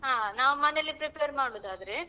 ಹಾ ನಾವ್ ಮನೆಯಲ್ಲೇ prepare ಮಾಡುದಾದ್ರೆ.